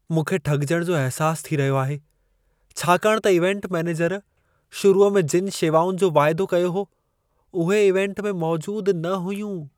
मूंखे ठॻिजण जो अहिसासु थी रहियो आहे, छाकाणि त इवेंट मैनेजर शुरूअ में जिनि शेवाउनि जो वादो कयो हो, उहे इवेंट में मौजूद न हुयूं।